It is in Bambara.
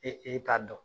E e t'a dɔn